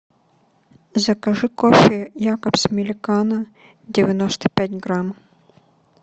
закажи кофе якобс миликано девяносто пять грамм